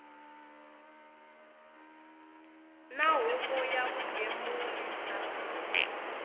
na huvo ya vugembuli bya